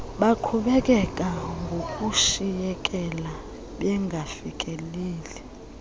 baqhubekeka ngokushiyekela bengafikeleli